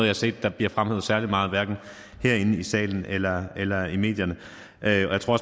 har set blive fremhævet særlig meget hverken herinde i salen eller eller i medierne jeg tror